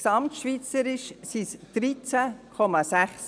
Gesamtschweizerisch sind es 13,6 Prozent.